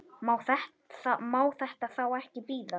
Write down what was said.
Má þetta þá ekki bíða?